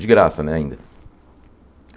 De graça, né, ainda.